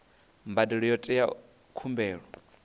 mbadelo yo teaho ya khumbelo